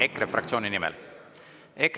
EKRE fraktsiooni nimel?